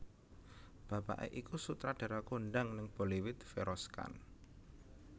Bapaké iku sutradara kondhang ning Bollywood Feroz Khan